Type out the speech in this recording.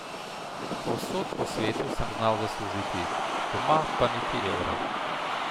Povsod po svetu sem znal zaslužiti, doma pa niti evra.